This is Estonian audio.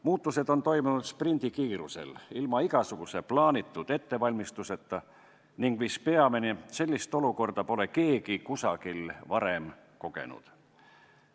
Muutused on toimunud sprindikiirusel ilma igasuguse plaanitud ettevalmistuseta ning mis peamine, sellist olukorda pole keegi kusagil varem kogenud.